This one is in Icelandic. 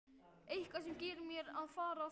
Eitthvað sem segir mér að fara þangað.